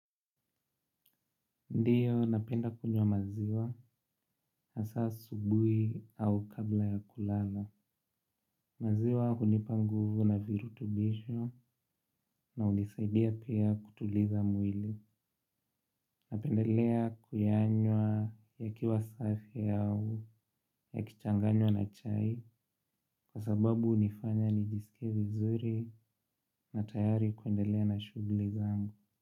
Ndiyo, napenda kunywa maziwa, hasa asubuhi au kabla ya kulala. Maziwa hunipa nguvu na virutubisho na hunisaidia pia kutuliza mwili. Napendelea kuyanywa yakiwa safi au, yakichanganywa na chai, kwa sababu hunifanya nijisikie vizuri na tayari kuendelea na shughuli zangu.